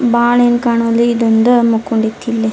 ಬಾಣ್ ಏನ್ ಕಾಣವಲ್ ಇದೊಂದ್ ಮಕೋಂಡ್ ಇಲ್ಲೆ.